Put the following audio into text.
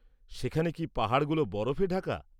সেখানে কি পাহাড়গুলো বরফে ঢাকা?